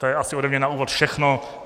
To je asi ode mě na úvod všechno.